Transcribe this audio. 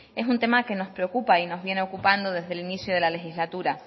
es un tema que nos preocupa y nos viene ocupando desde el inicio de la legislatura